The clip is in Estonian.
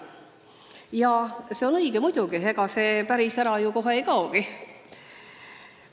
Ja see on muidugi õige, ega see päris ära ju kohe ei kaogi.